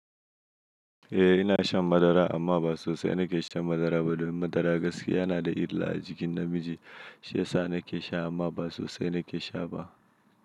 Eh ina shan madara amma ba sosai na ke sha madara ba. Domin madara gaske yana da illa a jikin namiji. Shi yasa na ke sha amma ba sosai na ke sha ba.